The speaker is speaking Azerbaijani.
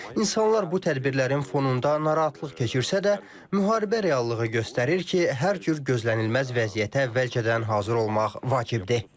İnsanlar bu tədbirlərin fonunda narahatlıq keçirsə də, müharibə reallığı göstərir ki, hər cür gözlənilməz vəziyyətə əvvəlcədən hazır olmaq vacibdir.